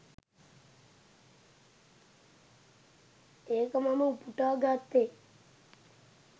ඒක මම උපුටා ගත්තේ.